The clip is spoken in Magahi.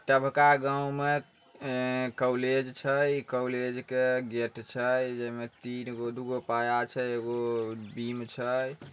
सबका गांव में अ कॉलेज छै। कॉलेज के गेट छै जे मे तीन दूगो पाया छै। एगो बीम छै।